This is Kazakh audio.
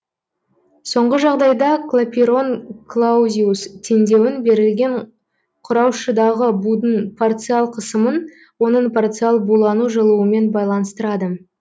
соңғы жағдайда клапейрон клаузиус теңдеуін берілген құраушыдағы будың парциал қысымын оның парциал булану жылуымен байланыстырады